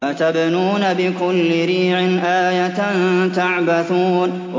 أَتَبْنُونَ بِكُلِّ رِيعٍ آيَةً تَعْبَثُونَ